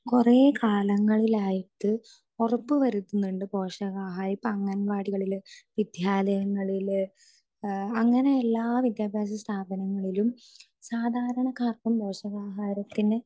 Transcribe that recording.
speaker 2 കൊറേ കാലങ്ങളിലായിട്ട് ഉറപ്പുവരുത്തുന്നുണ്ട് പോഷകാഹാരം ഇപ്പൊ അംഗൻവാടികളില് വിദ്യാലയങ്ങളില് അങ്ങനെ എല്ലാ വിദ്യാഭ്യാസസ്ഥാപനങ്ങളിലും സാധാരണക്കാർക്കും പോഷകാഹാരത്തിന്